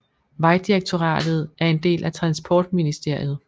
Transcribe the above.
Vejdirektoratet er en del af Transportministeriet